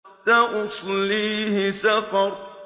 سَأُصْلِيهِ سَقَرَ